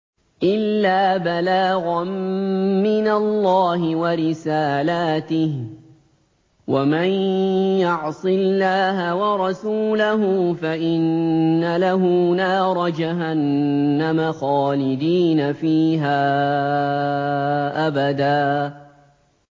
إِلَّا بَلَاغًا مِّنَ اللَّهِ وَرِسَالَاتِهِ ۚ وَمَن يَعْصِ اللَّهَ وَرَسُولَهُ فَإِنَّ لَهُ نَارَ جَهَنَّمَ خَالِدِينَ فِيهَا أَبَدًا